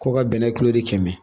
Ko ka bɛnɛ tuloden kɛmɛ